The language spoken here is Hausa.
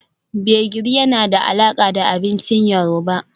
Gbegiri yana da alaƙa da abincin yoruba